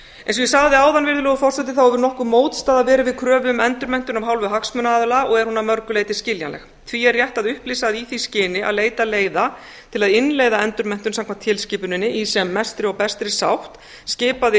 eins og ég sagði áðan virðulegur forseti hefur nokkur mótstaða verið við kröfu um endurmenntun af hálfu hagsmunaaðila er hún að mörgu leyti skiljanlegt því er rétt að upplýsa að í því skyni að leita leiða til að innleiða endurmenntun samkvæmt tilskipuninni í sem mestri og bestri sátt skipaði